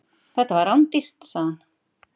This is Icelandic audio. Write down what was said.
Þetta var rándýrt, sagði hann.